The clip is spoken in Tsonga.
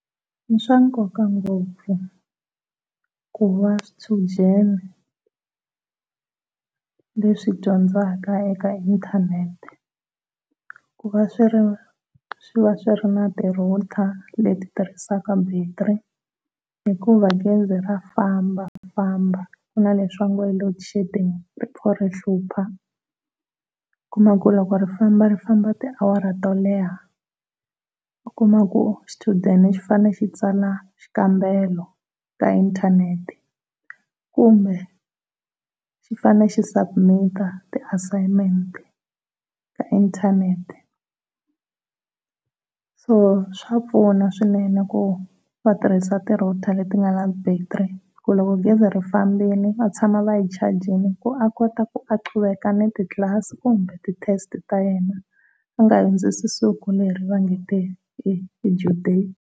I swa nkoka ngopfu kuva swichudeni leswi dyondzaka eka inthanete ku va swi ri swi va swi ri na ti router leti tirhisaka battery, hikuva gezi ra fambafamba ku na leswi vo nge i loadshedding ri pfa ri hlupha. U kuma ku loko ri famba ri famba tiawara to leha u kuma ku xichudeni xi fanele xi tsala xikambelo ka inthanete kumbe xi fanele xi submit ti assignment ka inthanete, so swa pfuna swinene ku va tirhisa ti router leti nga na battery loko gezi ri fambile va tshama va yi chajile ku va kota ku a qubeka na ti tlasi kumbe ti test ta yena u nga hundzisi siku leri va nge i due date.